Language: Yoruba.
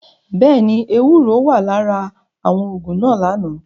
Bẹẹni, ewuro wa lara awọn oogun naa lana.